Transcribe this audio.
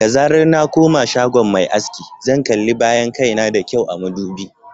Da zarar na koma shagon mai aski, zan kalli bayan kai na da kyau a madubi.